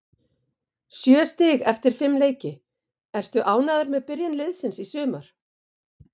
Sjö stig eftir fimm leiki, ertu ánægður með byrjun liðsins í sumar?